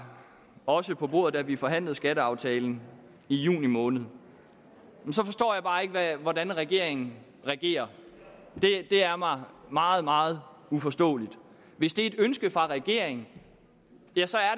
også på bordet da vi forhandlede skatteaftalen i juni måned så forstår jeg bare ikke hvordan regeringen regerer det er mig meget meget uforståeligt hvis det er et ønske fra regeringen